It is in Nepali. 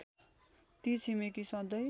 ती छिमेकी सँधै